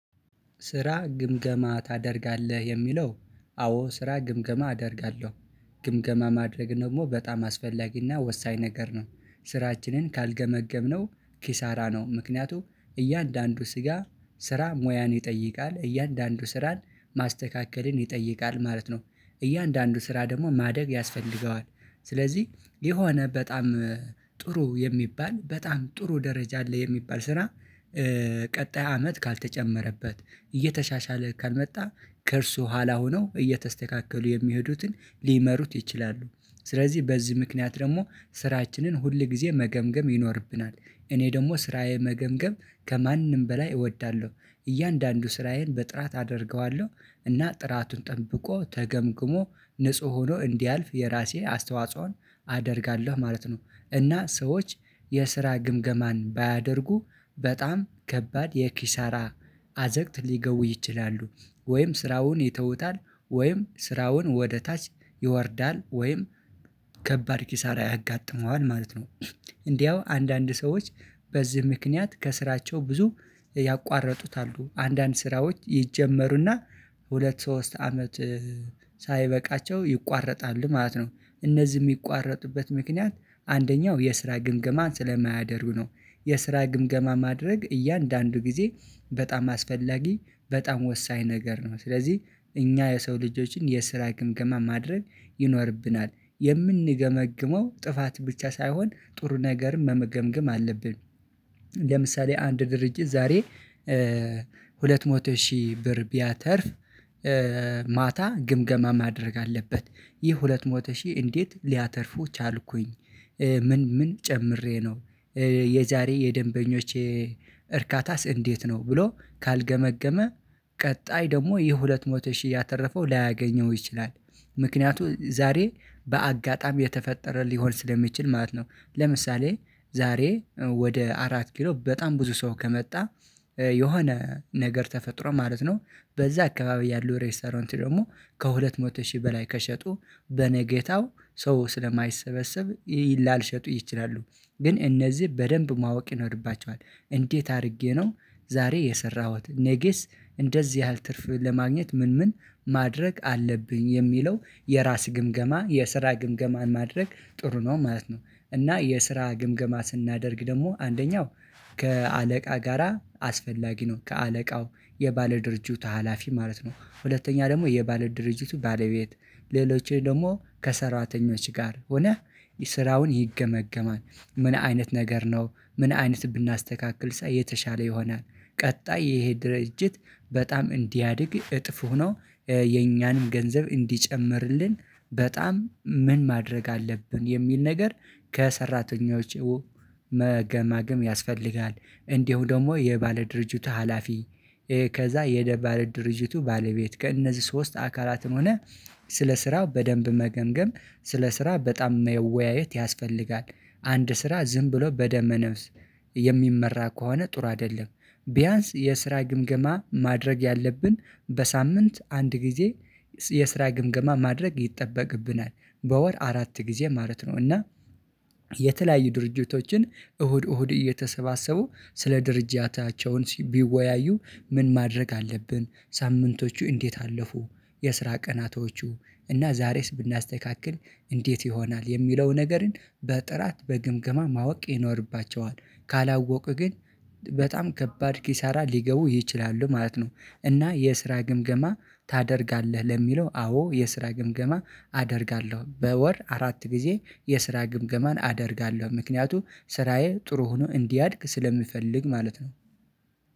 ስራ ግምገማ ታደርጋለህ የሚለው አዎ ስራ ግምገማ አደርጋለሁ። ግምገማ ማድረግ ደግሞ በጣም አስፈላጊና ወሳኝ ነገር ነው። ስራችንን ካልገመገምነው ኪሳራ ነው። ምክንያቱም እያንዳንዱ ስራ ስራ ሙያን ይጠይቃል እያንዳንዱ ስራን ማስተካከልን ይጠይቃል ማለት ነው። እያንዳንዱ ስራ ደግሞ ማደግ ያስፈልገዋል። ስለዚህ የሆነ በጣም ጥሩ የሚባል በጣም ጥሩ ደረጃ አለ የሚባል ስራ። ቀጣይ አመት ካልተጨመረበት እየተሻሻለ ካልመጣ ከእርሱ በኋላ ሆኖ እየተስተካከሉ የሚሄዱትን ሊመሩት ይችላሉ። ስለዚህ በዚህ ምክንያት ደግሞ ስራችንን ሁል ጊዜ መገምገም ይኖርብናል። እኔ ደግሞ ስራዬ መገምገም ከማንም በላይ እወዳለሁ። እያንዳንዱ ስራዬን በጥራት አደርገዋለሁ እና ጥራቱን ጠብቆ ተገምግሞ ንጹህ ሆኖ እንዲያልፍ የራሴ አስተዋጽኦን አደርጋለሁ ማለት ነው። እና ሰዎች የስራ ግምገማን ባያደርጉ በጣም ከባድ የኪሳራ አዘቅት ሊገቡ ይችላሉ። ወይም ስራውን ይተውታል ወይም ስራውን ወደ ታች ይወርዳል ወይም ከባድ ኪሳራ ያጋጥመዋል ማለት ነው። እንዲያው አንዳንድ ሰዎች በዚህ ምክንያት ከስራቸው ብዙ ያቋረጡታሉ። አንዳንድ ስራዎች ይጀመሩና ሁለት ሶስት አመት ሳይበቃቸው ይቋረጣሉ ማለት ነው። እነዚህ የሚቋረጡበት ምክንያት አንደኛው የስራ ግምገማን ስለማያደርግ ነው። የስራ ግምገማ ማድረግ እያንዳንዱ ጊዜ በጣም አስፈላጊ በጣም ወሳኝ ነገር ነው። ስለዚህ እኛ የሰው ልጆች የስራ ግምገማ ማድረግ ይኖርብናል የምንገመግመው ጥፋት ብቻ ሳይሆን ጥሩ ነገርን መገምገም አለብን። ለምሳሌ አንድ ድርጅት ዛሬ ሁለት መቶ ሺህ ብር ቢያተርፍ ማታ ግምገማ ማድረግ አለበት። ይህ ሁለት መቶ ሺህ እንዴት ሊያተርፉ ቻልኩኝ? ምን ምን ጨምሬ ነው? የዛሬ የደንበኞች የእርካታስ እንዴት ነው ብሎ ካልገመገመ። ቀጣይ ደግሞ የሁለት መቶ ሺህ ያተረፈው ላያገኘው ይችላል። ምክንያቱም ዛሬ በአጋጣሚ የተፈጠረ ሊሆን ስለሚችል ማለት ነው። ለምሳሌ ዛሬ ወደ አራት ኪሎ በጣም ብዙ ሰው ከመጣ። የሆነ ነገር ተፈጥሮ ማለት ነው። በዛ አካባቢ ያለው ሬስቶራንት ደግሞ ከሁለት መቶ ሺህ በላይ ከሸጡ በነገታው ሰው ስለማይሰበሰብ ላይሸጡ ይችላሉ። ግን እነዚህ በደንብ ማወቅ ይኖርባቸዋል እንዴት አድርጌ ነው? ዛሬ የሰራሁት ነገስ እንደዚህ ያህል ትርፍ ለማግኘት ምን ምን ማድረግ አለብኝ? የሚለው የራስ ግምገማ የስራ ግምገማን ማድረግ ጥሩ ነው ማለት ነው። እና የስራ ግምገማ ስናደርግ ደግሞ አንደኛው ከአለቃ ጋራ አስፈላጊ ነው። ከአለቃው የባለድርጅቱ ሀላፊ ማለት ነው። ሁለተኛ ደግሞ የባለድርጅቱ ባለቤት ሌሎችን ደግሞ ከሰራተኞች ጋር ሆነህ ስራውን ይገመገማል። ምን አይነት ነገር ነው? ምን አይነት ብናስተካክል የተሻለ ይሆናል። ቀጣይ ይሄ ድርጅት በጣም እንዲያድግ እጥፍ ሆኖ የኛንም ገንዘብ እንዲጨምርልን በጣም ምን ማድረግ አለብን የሚል ነገር ከሰራተኞች መገምገም ያስፈልጋል። እንዲሁ ደግሞ የባለድርጅቱ ሀላፊ ከዛ የባለድርጅቱ ባለቤት ከእነዚህ ሶስት አካላት ሆነህ ስለ ስራው በደንብ መገምገም ስለ ስራ በጣም መወያየት ያስፈልጋል። አንድ ስራ ዝም ብሎ በደመ ነፍስ የሚመራ ከሆነ ጥሩ አይደለም። ቢያንስ የስራ ግምገማ ማድረግ ያለብን በሳምንት አንድ ጊዜ የስራ ግምገማ ማድረግ ይጠበቅብናል በወር አራት ጊዜ ማለት ነው። እና የተለያዩ ድርጅቶችን እሁድ እሁድ እየተሰባሰቡ ስለ ድርጅታቸው ቢወያዩ ምን ማድረግ አለብን ሳምንቶቹ እንዴት አለፉ? የስራ ቀናቶቹ እና ዛሬስ ብናስተካክል እንዴት ይሆናል? የሚለው ነገርን በጥራት በግምገማ ማወቅ ይኖርባቸዋል። ካላወቁ ግን በጣም ከባድ ኪሳራ ሊገቡ ይችላሉ ማለት ነው። እና የስራ ግምገማ ታደርጋለህ? ለሚለው አዎ የስራ ግምገማ አደርጋለሁ በወር አራት ጊዜ የስራ ግምገማን አደርጋለሁ ምክንያቱም ስራዬ ጥሩ ሆኖ እንዲያድግ ስለሚፈልግ ማለት ነው።